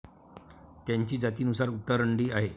त्यांची जातीनुसार उतरंडी आहे.